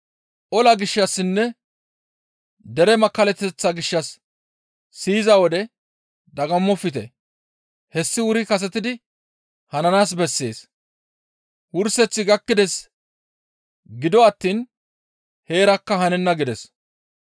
Ola gishshassinne dere makkallateththa gishshas siyiza wode dagammofte. Hessi wuri kasetidi hananaas bessees; wurseththi gakkides; gido attiin heerakka hanenna» gides.